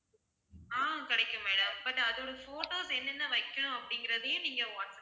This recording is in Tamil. ஆஹ் கிடைக்கும் madam, but அதோட photos என்னென்ன வைக்கணும் அப்படிங்கறதையும் நீங்க வாட்ஸ்~